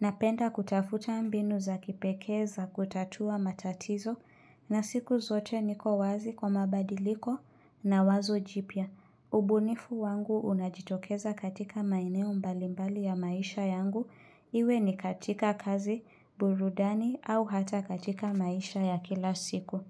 napenda kutafuta mbinu za kipekee za kutatua matatizo na siku zote niko wazi kwa mabadiliko na wazo jipya. Ubunifu wangu unajitokeza katika maeneo mbalimbali ya maisha yangu iwe ni katika kazi, burudani au hata katika maisha ya kila siku.